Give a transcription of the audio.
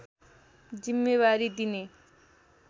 जिम्मेवारी दिने